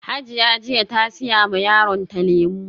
Hajiya jiya ta siya ma yaronta lemu